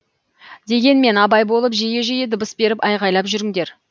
дегенмен абай болып жиі жиі дыбыс беріп айғайлап жүріңдер